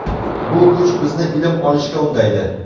Bu kuch bizni ilm olishga undaydi.